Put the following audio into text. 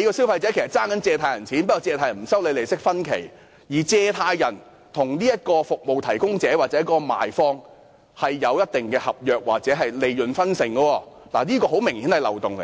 所以消費者其實是欠了放債人的錢，放債人只是不收取利息，而放債人與服務提供者或賣方之間亦有合約或利潤分成，這很明顯也是一個漏洞。